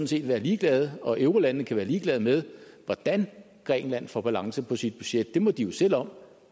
set være ligeglade og eurolandene kan være ligeglade med hvordan grækenland får balance på sit budget det må de jo selv om